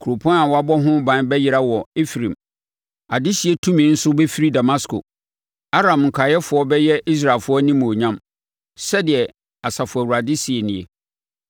Kuropɔn a wɔabɔ ho ban bɛyera wɔ Efraim, adehyetumi nso bɛfiri Damasko; Aram nkaeɛfoɔ bɛyɛ Israelfoɔ animuonyam,” Sɛdeɛ Asafo Awurade seɛ nie.